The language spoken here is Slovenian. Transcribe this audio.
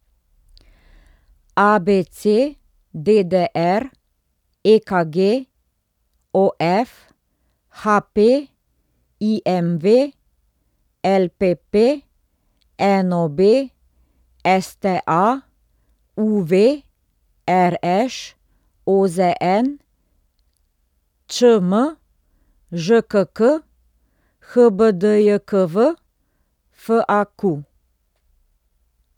ABC, DDR, EKG, OF, HP, IMV, LPP, NOB, STA, UV, RŠ, OZN, ČM, ŽKK, HBDJKV, FAQ.